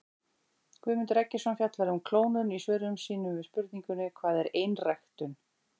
Guðmundur Eggertsson fjallar um klónun í svörum sínum við spurningunum Hvað er einræktun?